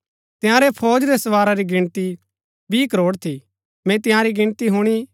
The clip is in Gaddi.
तंयारै फौज रै सवारा री गिणती बीह करोड़ थी मैंई तंयारी गिणती हुणी